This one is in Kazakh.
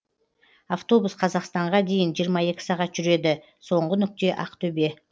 автобус қазақстанға дейін жиырма екі сағат жүреді соңғы нүкте ақтөбе